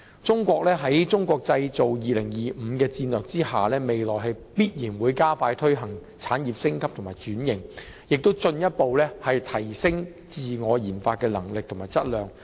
中國在"中國製造 2025" 的戰略下，未來必然會加快推行產業升級和轉型，亦會進一步提升自我研發的能力和質量。